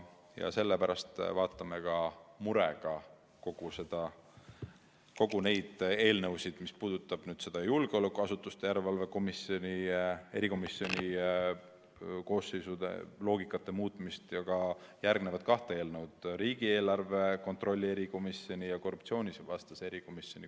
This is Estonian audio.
Ja sellepärast vaatame me murega kõiki neid koosseisude loogikat käsitlevaid eelnõusid murega – puudutagu need julgeolekuasutuste järelevalve erikomisjoni või ka riigieelarve kontrolli erikomisjoni ja korruptsioonivastast erikomisjoni.